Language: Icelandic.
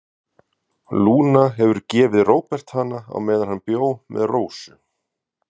Lúna hefur gefið Róbert hana á meðan hann bjó með Rósu.